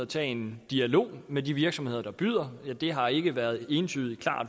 tage en dialog med de virksomheder der byder det har ikke været klart og entydigt